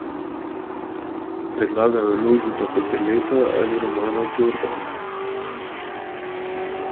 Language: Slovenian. Predlagajo Lojzeta Peterleta ali Romano Jordan.